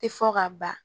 Tɛ fɔ ka ban